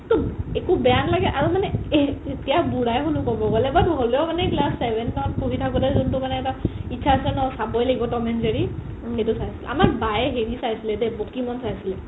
একো বেয়া নালাগে আৰু মানে এতিয়া বুঢ়াই ক'ব গ'লো হ'লেও মানে class seven ত পঢ়ি থাকোতে মানে যোন্তু মানে এটা ইচ্ছা আছে ন চাবৈ লাগিব ত'ম and জেৰি সেইটো নাই আমাৰ বায়ে হেৰি চাইছিলে দেই পকিমন চাইছিলে